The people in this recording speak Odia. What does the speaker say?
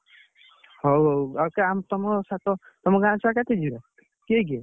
ଆମ ସାଙ୍ଗ ଛୁଆ ଯାଇଥାନ୍ତେ ଗାଁ ଛୁଆ ପା~ ପାଞ୍ଚ ଛ ଜଣ ଯାଇଥାନ୍ତେ ଆଉ।